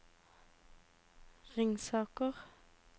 Ringsaker